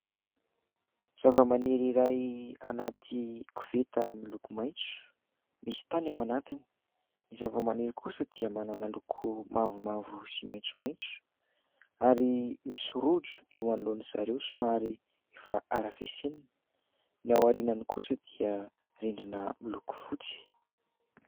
Zavamaniry iray anaty koveta miloko maitso, misy tany ao anatiny ; ny zavamaniry kosa dia manana loko mavomavo sy maitsomaitso ary misy rojo eo anoloan'izy ireo somary efa harafesenina. Ny ao aoriany kosa dia rindrina miloko fotsy.